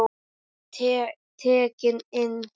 Ég var tekinn inn.